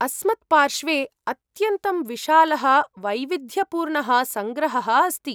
अस्मत्पार्श्वे अत्यन्तं विशालः वैविध्यपूर्णः सङ्ग्रहः अस्ति।